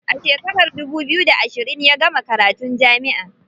A shekarar dubu biyu da ashirin ya gama karatun jami'a.